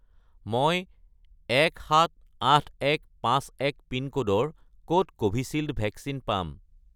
মই 178151 পিনক'ডৰ ক'ত কোভিচিল্ড ভেকচিন পাম?